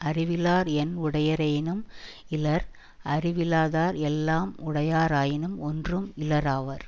அறிவிலார் என் உடையரேனும் இலர் அறிவிலாதார் எல்லாம் உடையராயினும் ஒன்றும் இலராவர்